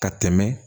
Ka tɛmɛ